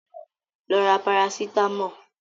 Lọ ra Parasítámọ̀!